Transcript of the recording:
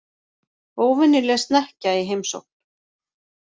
Óvenjuleg snekkja í heimsókn